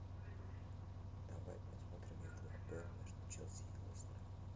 давай посмотрим игру апл между челси и лестером